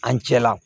An cɛla